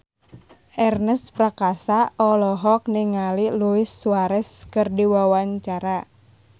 Ernest Prakasa olohok ningali Luis Suarez keur diwawancara